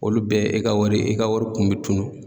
Olu bɛɛ e ka wari, e ka wari kun bɛ tunun.